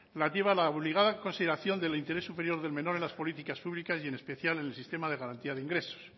relativa a la obligada consideración del interés superior del menor en las políticas públicas y en especial en el sistema de garantía de ingresos